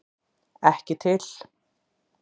Ekki til!